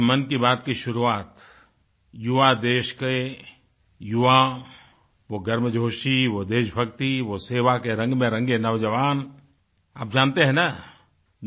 आज मन की बात की शुरुआत युवा देश के युवा वो गर्म जोशी वो देशभक्ति वो सेवा के रंग में रंगे नौजवान आप जानते हैं ना